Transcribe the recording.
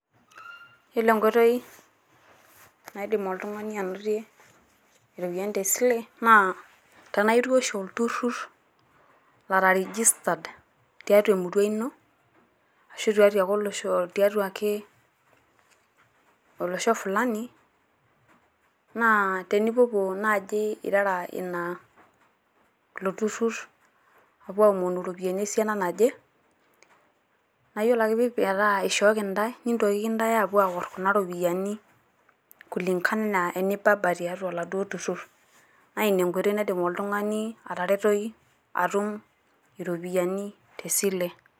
Yiolo enkoitoi naidim oltung`ani anotie irropiyiani te sile naa tenaitii oshi olturrur ora registered tiatua emurua ino ashu tiatua ake tiatua ake olosho fulani naa tenipuopuo naaji irara ina ilo turrur aapuo aomonu irropiyiani esiana naje. Naa iyiolo ake metaa ishooki intae nintokiki intae aapuo aor inaduo rropiyiani kulingana enibaba tiatua oladuo turrur naa ina enkoitoi naidim oltung`ani ataretoki atum iropiyiani te sile.